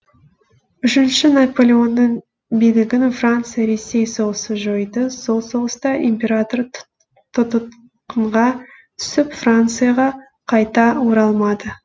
үшінші наполеонның билігінің франция ресей соғысы жойды сол соғыста император тұтқынға түсіп францияға қайта оралмады